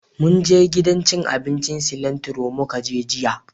Munje gidan cin abincin Cilantro mu ka je jiya